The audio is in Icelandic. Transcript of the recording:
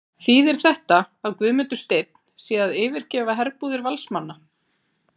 Þýðir þetta að Guðmundur Steinn sé að yfirgefa herbúðir Valsmanna?